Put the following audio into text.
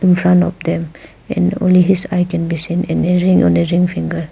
In front of them and only his eye can be seen and a ring on a ring finger.